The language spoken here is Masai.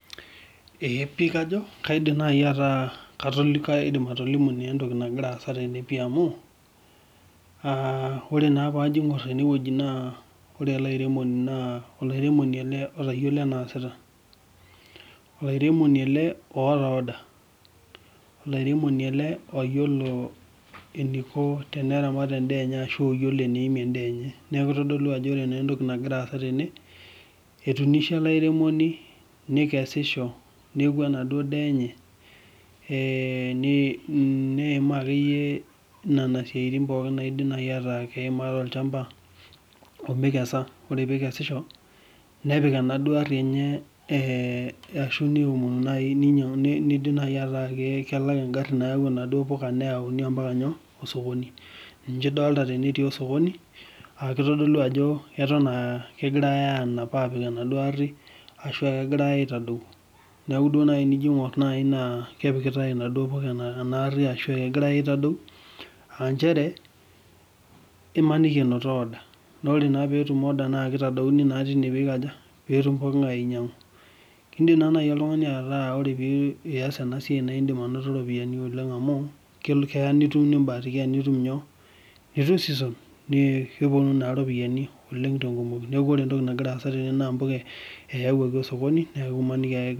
Eeh pii kajo kaidim naaii ataa kaidim naa atolimu entoki nagira aasa tene pii amu aa ore naa paajo aigorr ene wueji naa ore ele airemoni naa, olairemoni ele otayiolo eneesita, olairemoni ele oota order olairemoni ele oyiolo eniko teneramat endaa enye ashu oyiolo eneimie endaa enye, neeku kidolu ajo ore entoki nagira aaza tene etunishe ele airemoni nikesisho neeku enaduoo daa enye eeh, neimaa akeyie nena siaiitin akeyie naidimi ataa keimori tolshamba omikeza ore peikesisho nepik enaduoo aarri enye ashu neomonu naaii ashu ninyangu nidim naai ataa kelak egarri nayau naduoo puka neyauni mpaka nyoo osokoni ninche idolta tene etii osokoni aa kitodolu ajo eton aa keton aa kenapitae aapik enaduoo aarri ashuaa kegirae aitadou neeku tenijo aigorr naaii naa kepikitae naaii apik ashu kegirae aitadou aa inchere imaniki enoto order naa ore naa peetum orde naa kitadouni naa tine piikaja? Peetum pooki ngae ainyang'u, keidim naai oltungani ataaza ena siaai naa idim anoto ropiani oleng amu keya nitum nibahatikia nitum season naa kepuonu naa ropiani te kumoii oleng neeku ore entoki nagira aaza naa puka eyawuaki osokoni .